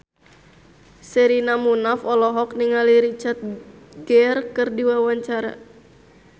Sherina Munaf olohok ningali Richard Gere keur diwawancara